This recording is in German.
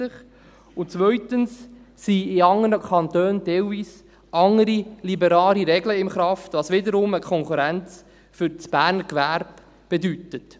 Zweitens sind in anderen Kantonen teilweise andere liberale Regeln in Kraft, was wiederum eine Konkurrenz für das Berner Gewerbe bedeutet.